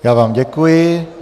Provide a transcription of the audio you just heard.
Já vám děkuji.